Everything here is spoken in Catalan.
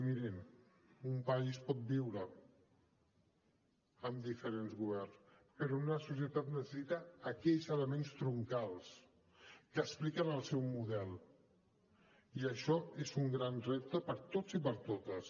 mirin un país pot viure amb diferents governs però una societat necessita aquells elements troncals que expliquen el seu model i això és un gran repte per a tots i per a totes